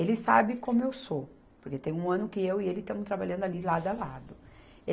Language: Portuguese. Ele sabe como eu sou, porque tem um ano que eu e ele estamos trabalhando ali lado a lado.